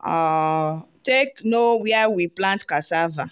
um take know where we plant cassava.